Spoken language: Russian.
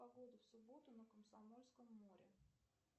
погода в субботу на комсомольском море